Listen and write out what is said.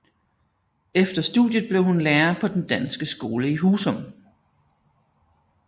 Efter studiet blev hun lærer på den danske skole i Husum